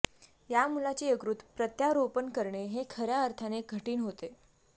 या मुलाचे यकृत प्रत्यारोपण करणे हे खऱ्या अर्थाने कठिण होते